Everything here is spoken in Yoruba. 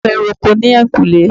Bàbá mi ń ro oko ní ẹ̀yìnkùlé